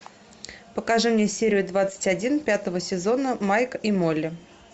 покажи мне серию двадцать один пятого сезона майк и молли